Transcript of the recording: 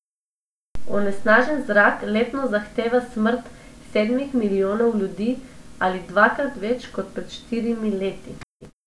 Onesnažen zrak letno zahteva smrt sedmih milijonov ljudi ali dvakrat več kot pred štirimi leti.